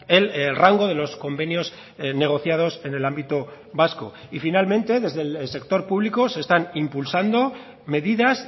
el rango de los convenios negociados en el ámbito vasco y finalmente desde el sector público se están impulsando medidas